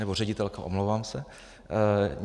Nebo ředitelka, omlouvám se.